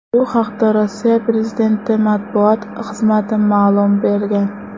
Bu haqda Rossiya prezidenti matbuot xizmati ma’lumot bergan .